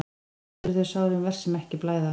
Oft eru þau sárin verst sem ekki blæða.